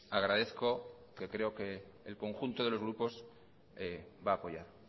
agradezco que creo que el conjunto de los grupos va a apoyar